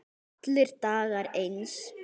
Allir dagar eins.